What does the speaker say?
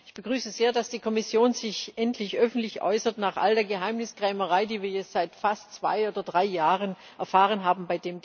Ich begrüße sehr, dass die Kommission sich endlich öffentlich äußert nach all der Geheimniskrämerei, die wir bei dem Thema seit fast zwei oder drei Jahren erfahren haben.